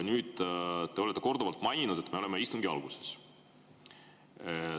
Te olete korduvalt maininud, et me oleme istungi alguses.